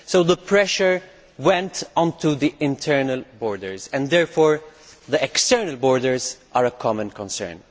So the pressure went onto the internal borders and therefore the external borders are a common concern.